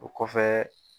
O kɔfɛ